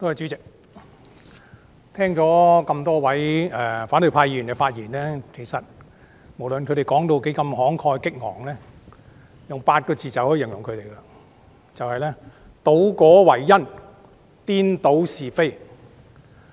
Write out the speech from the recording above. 主席，我聽了多位反對派議員的發言，其實，無論他們何等慷慨激昂，我用8個字便足以容形了：倒果為因，顛倒是非。